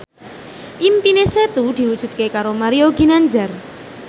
impine Setu diwujudke karo Mario Ginanjar